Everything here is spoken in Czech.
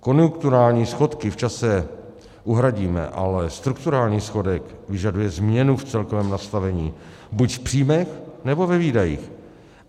Konjunkturální schodky v čase uhradíme, ale strukturální schodek vyžaduje změnu v celkovém nastavení buď v příjmech, nebo ve výdajích.